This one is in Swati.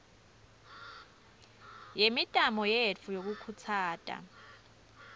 yemitamo yetfu yekukhutsata